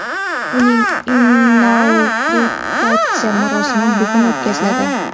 uning inauguratsiya marosimi bugun o‘tkaziladi.